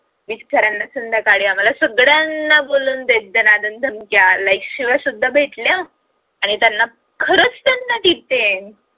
बिचाऱ्यांना संध्याकाळी आम्हा सगळ्यांना बोलवून दे दनादण धमक्या like शिव्या सुद्धा भेटल्या आणि त्यांना खरच त्यांना detend